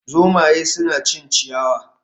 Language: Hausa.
Zomaye suna cin ciyawa